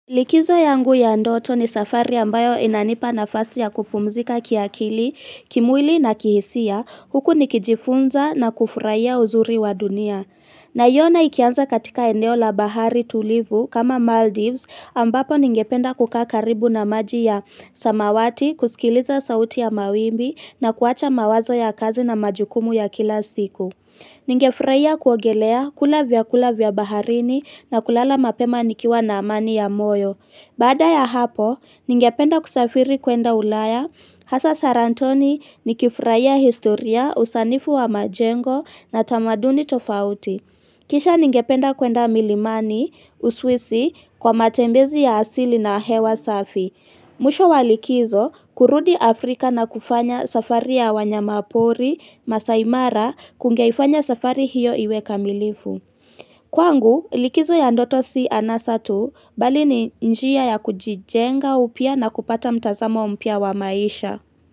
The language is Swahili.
Likizo yangu ya ndoto ni safari ambayo inanipa nafasi ya kupumzika kiakili, kimwili na kihisia, huku nikijifunza na kufurahia uzuri wa dunia. Naiona ikianza katika endeo la bahari tulivu kama Maldives ambapo ningependa kukaa karibu na maji ya samawati, kusikiliza sauti ya mawimbi na kuwacha mawazo ya kazi na majukumu ya kila siku. Ningefurahia kuogelea kula vyakula vya baharini na kulala mapema nikiwa na amani ya moyo. Baada ya hapo, ningependa kusafiri kwenda ulaya. Hasa sarantoni nikifurahia historia usanifu wa majengo na tamaduni tofauti. Kisha ningependa kwenda milimani uswisi kwa matembezi ya asili na hewa safi. Mwisho wa likizo, kurudi Afrika na kufanya safari ya wanyama pori, Maasaimara, kungeifanya safari hiyo iwe kamilifu. Kwangu, likizo ya ndoto si anasa tu, bali ni njia ya kujijenga upya na kupata mtazamo mpya wa maisha.